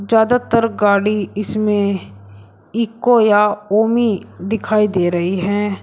ज्यादातर गाड़ी इसमें इक्को या ओमी दिखाई दे रही है।